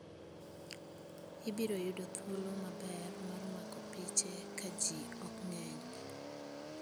Ibiro yudo thuolo maber mar mako piche ka ji ok ng'eny.